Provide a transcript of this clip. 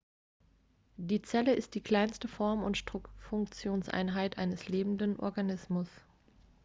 die zelle ist die kleinste struktur und funktionseinheit eines lebenden organismus